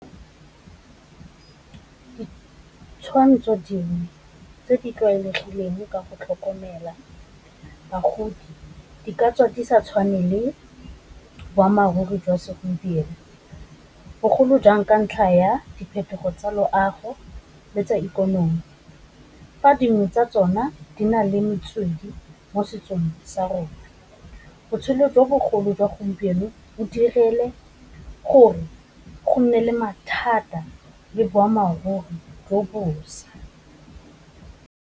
Ditshwantsho dingwe tse di tlwaelegileng ka go tlhokomela bagodi, di ka tswa di sa tshwane le boammaaruri jwa segompieno, bogolo jang ka ntlha ya diphetogo tsa loago, le tsa ikonomi, fa dingwe tsa tsona di na le metswedi mo setsong sa rona. Botshelo jo bogolo jwa gompieno o direle gore go nne le mathata le boammaaruri jo bošwa.